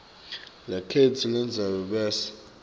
letheksthi lelandzelako bese